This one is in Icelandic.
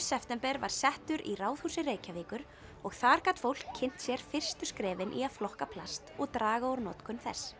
september var settur í Ráðhúsi Reykjavíkur og þar gat fólk kynnt sér fyrstu skrefin í að flokka plast og draga úr notkun þess